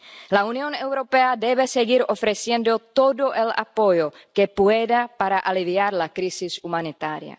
La Unión Europea debe seguir ofreciendo todo el apoyo que pueda para aliviar la crisis humanitaria.